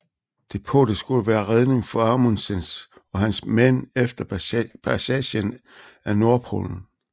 Depotet skulle være redning for Amundsens og hans mænd efter passagen af nordpolen